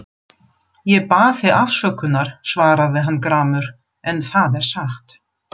Ég bað þig afsökunar, svaraði hann gramur,-en það er satt.